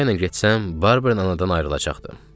Qoca ilə getsəm, Barbern anadan ayrılacaqdı.